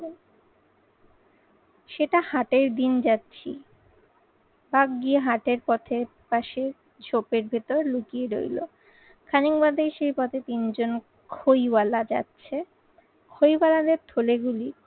সেটা হাটের দিন যাচ্ছি। বাঘ গিয়ে হাটের পথের পাশে ঝোপের ভেতর লুকিয়ে রইলো। খানিক বাদেই সেই পথে তিনজন খইওয়ালা যাচ্ছে খইওয়ালাদের থলে গুলি